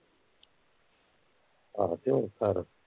ਆਹੋ ਤੇ ਹੋਰ ਘਰ